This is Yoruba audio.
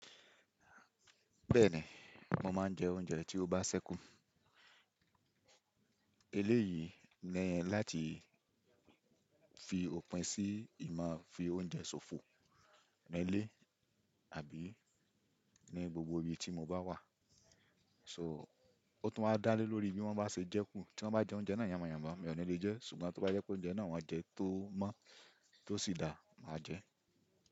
Bẹ́ẹ̀ni, mo máa ń jẹ oúnjẹ tí ó bá ṣẹ́kù. Eléyìí ni láti fi òpin sí ìmá fi oúnjẹ ṣòfò nílé àbí ní gbogbo ibi tí mo bá wà. So ó tún máa dálé lórí bí wọ́n bá ṣe jẹ kù. Tí wọ́n bá jẹ oúnjẹ náà yànmáyanmá mi ò ní lè jẹ ẹ́, ṣùgbọ́n tí wọ́n bá jẹ oúnjẹ náà wọ́n jẹ tó mọ́ tó sì dáa, màá jẹ ẹ́.